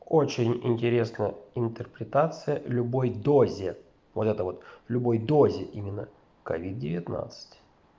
очень интересная интерпретация любой дозе вот это вот любой дозе именно ковид девятнадцать